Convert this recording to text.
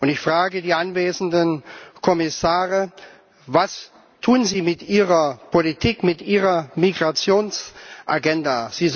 Ich frage die anwesenden Kommissare Was tun Sie mit Ihrer Politik, mit Ihrer Migrationsagenda?